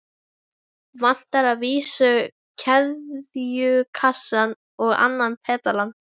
Vantar að vísu keðjukassann og annan pedalann.